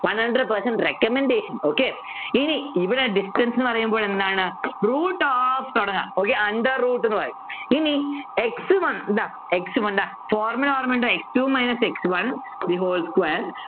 one hundered percent recommendation okay ഇനി ഇവിടെ distance എന്ന് പറയുമ്പോൾ എന്താണ് root of തുടങ്ങാം okay under root എന്ന് പറയും ഇനി x one ഇതാ x one ഇതാ formula ഓർമ്മയുണ്ടോ x two minus x one the whole square